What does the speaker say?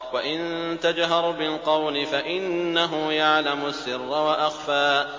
وَإِن تَجْهَرْ بِالْقَوْلِ فَإِنَّهُ يَعْلَمُ السِّرَّ وَأَخْفَى